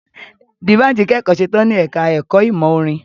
Dbanj kẹ́kọ̀ọ́ setán ní ẹka ẹ̀kọ́ ìmọ̀ orin.